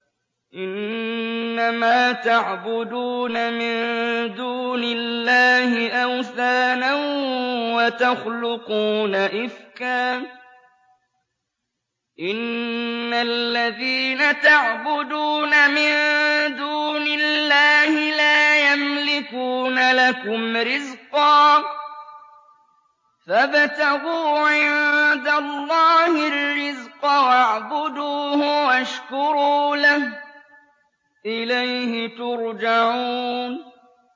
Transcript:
إِنَّمَا تَعْبُدُونَ مِن دُونِ اللَّهِ أَوْثَانًا وَتَخْلُقُونَ إِفْكًا ۚ إِنَّ الَّذِينَ تَعْبُدُونَ مِن دُونِ اللَّهِ لَا يَمْلِكُونَ لَكُمْ رِزْقًا فَابْتَغُوا عِندَ اللَّهِ الرِّزْقَ وَاعْبُدُوهُ وَاشْكُرُوا لَهُ ۖ إِلَيْهِ تُرْجَعُونَ